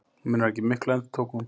Munar ekki miklu., endurtók hún.